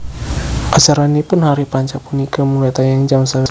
Acaranipun Hari Panca punika mulai tayang jam sewelas dalu